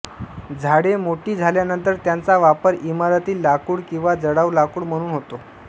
झाडे मोठी झाल्यानंतर त्यांचा वापर इमारती लाकूडकिंवा जळाऊ लाकूड म्हणून होतो